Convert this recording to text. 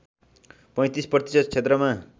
३५ प्रतिशत क्षेत्रमा